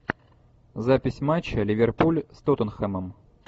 запись матча ливерпуль с тоттенхэмом